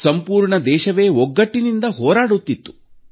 ಸಂಪೂರ್ಣ ದೇಶವೇ ಒಗ್ಗಟ್ಟಿನಿಂದ ಹೋರಾಡುತ್ತಿತ್ತು